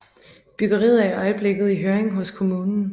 Byggeriet er i øjeblikket i høring hos kommunen